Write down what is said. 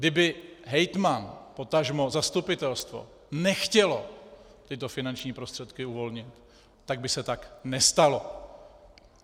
Kdyby hejtman, potažmo zastupitelstvo nechtěli tyto finanční prostředky uvolnit, tak by se tak nestalo.